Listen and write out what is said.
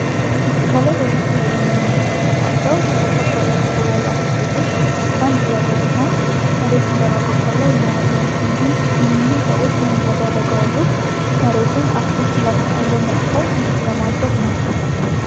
ከላይ በምስሉ ላይ የምንመለከታቸው በርከት ያለ ቁጥር ያላቸው ሴቶች አንድ ላይ በመሆን መሬቱን በመቆፈር ላይ እናለን እኒህም ሰዎች ይህን እያደረጉ ያሉት መሬቱን አትክልት ለመጥከል ምቹ ለማድረግ ነው።